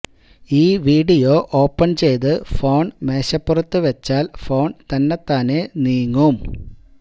ഈ video open ചെയ്ത് phone മേശപ്പുറത്ത് വച്ചാല് ഫോണ് തന്നത്താനെ നീങ്ങും